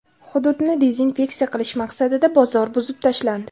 Hududni dezinfeksiya qilish maqsadida bozor buzib tashlandi.